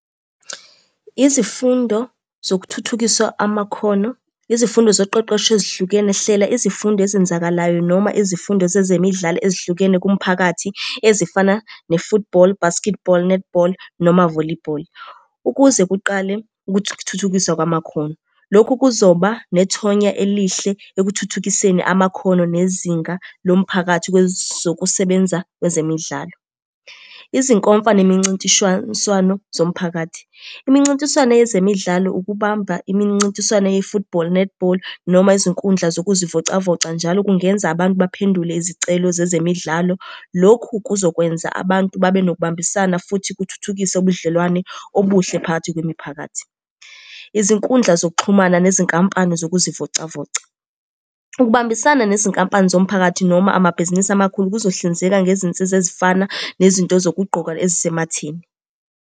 Izifundo zokuthuthukiswa amakhono, izifundo zoqeqesho ezihlukene, hlela izifundo ezenzakalayo noma izifundo zezemidlalo ezihlukene kumphakathi ezifana ne-football, basketball, netball, noma volleyball, ukuze kuqale ukuthuthukiswa kwamakhono. Lokhu kuzoba nethonya elihle ekuthuthukiseni amakhono nezinga lomphakathi kwezokusebenza kwezemidlalo. Izinkomfa, zemincintiswane zomphakathi, imincintiswane yezemidlalo ukubamba imincintiswane ye-football, netball, noma izinkundla zokuzivocavoca njalo kungenza abantu baphendule izicelo zezemidlalo. Lokhu kuzokwenza abantu babe nokubambisana futhi kuthuthukise ubudlelwane obuhle phakathi kwemiphakathi. Izinkundla zokuxhumana nezinkampani zokuzivocavoca, ukubambisana nezinkampani zomphakathi noma amabhizinisi amakhulu kuzohlinzeka ngezinsiza ezifana nezinto zokugqoka ezisematheni.